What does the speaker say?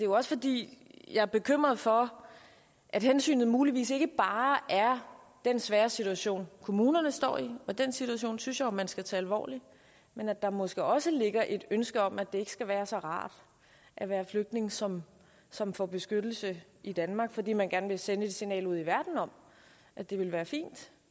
også fordi jeg er bekymret for at hensynet muligvis ikke bare er den svære situation kommunerne står i og den situation synes jeg jo man skal tage alvorligt men at der måske også ligger et ønske om at det ikke skal være så rart at være flygtning som som får beskyttelse i danmark fordi man gerne vil sende et signal ud i verden om at det ville være fint